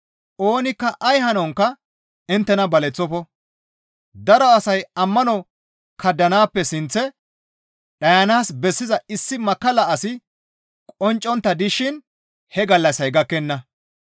Oonikka ay hanonkka inttena baleththofo. Daro asay ammano kaddanaappe sinththe dhayanaas bessiza issi makkalla asi qonccontta dishin he gallassay gakkenna.